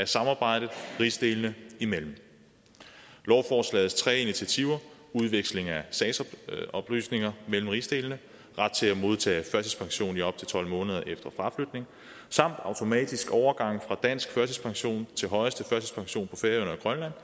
samarbejdet rigsdelene i mellem lovforslagets tre initiativer udveksling af sagsoplysninger mellem rigsdelene ret til at modtage førtidspension i op til tolv måneder efter fraflytning samt automatisk overgang fra dansk førtidspension til højeste førtidspension på færøerne